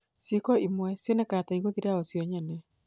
Ciiko imwe cionekaga ta igũthira o cio nyene.